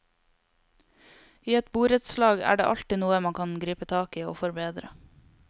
I et borettslag er det alltid noe man kan gripe tak i og forbedre.